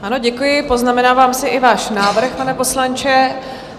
Ano, děkuji, poznamenávám si i váš návrh, pane poslanče.